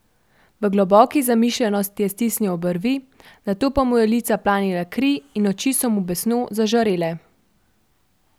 V globoki zamišljenosti je stisnil obrvi, nato pa mu je v lica planila kri in oči so mu besno zažarele.